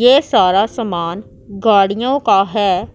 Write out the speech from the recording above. ये सारा समान गाड़ियों का हैं